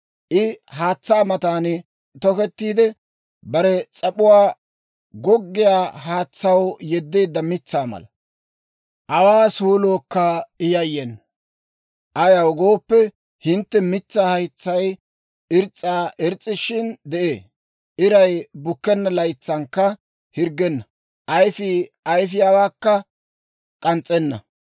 I haatsaa matan tokettiide, bare s'ap'uwaa goggiyaa haatsaw yeddeedda mitsaa mala. Awaa suulookka I yayyena. Ayaw gooppe, he mitsaa haytsay irs's'i irs's'aashin de'ee. Iray bukkenna laytsankka hirggenna; ayifiyaa ayifiyaawaakka k'ans's'enna.